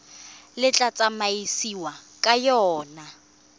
le tla tsamaisiwang ka yona